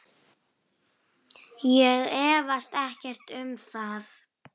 Ég efast ekkert um það.